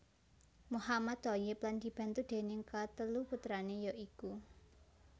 Mohammad Thoyyib lan dibantu déning katelu putrané ya iku